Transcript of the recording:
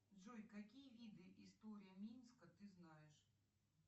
джой какие виды история минска ты знаешь